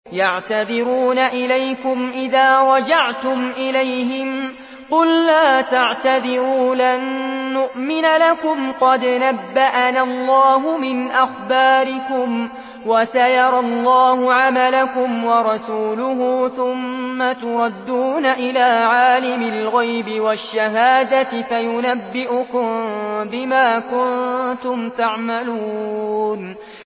يَعْتَذِرُونَ إِلَيْكُمْ إِذَا رَجَعْتُمْ إِلَيْهِمْ ۚ قُل لَّا تَعْتَذِرُوا لَن نُّؤْمِنَ لَكُمْ قَدْ نَبَّأَنَا اللَّهُ مِنْ أَخْبَارِكُمْ ۚ وَسَيَرَى اللَّهُ عَمَلَكُمْ وَرَسُولُهُ ثُمَّ تُرَدُّونَ إِلَىٰ عَالِمِ الْغَيْبِ وَالشَّهَادَةِ فَيُنَبِّئُكُم بِمَا كُنتُمْ تَعْمَلُونَ